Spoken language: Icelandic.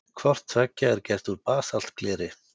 Hvort tveggja er gert úr basaltgleri.